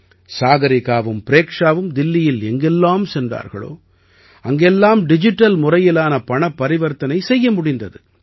சாகரிகாவும் ப்ரேக்ஷாவும் தில்லியில் எங்கெல்லாம் சென்றார்களோ அங்கெல்லாம் டிஜிட்டல் முறையிலான பரிவர்த்தனை செய்ய முடிந்தது